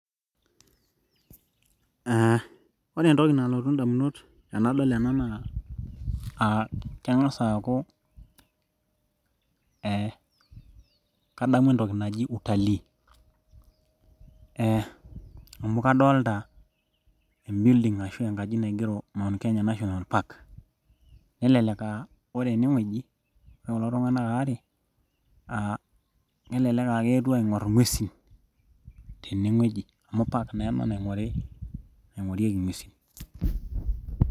uh ore entoki nalotu indamunot tenadol ena naa uh keng'as aaku eh kadamu entoki naji utalii eh amu kadolta em building ashu enkaji naigero mount kenya national park nelelek aa ore enewueji ore kulo tung'anak aare uh kelelek uh keetuo aing'orr ing'uesin tening'eji amu park[ccs] naa ena naing'orieki ing'uesin.